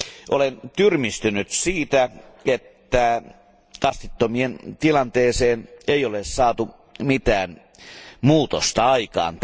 Olen tyrmistynyt siitä, että kastittomien tilanteeseen ei ole saatu mitään muutosta aikaan.